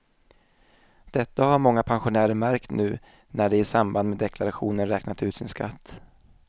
Detta har många pensionärer märkt nu när de i samband med deklarationen räknat ut sin skatt.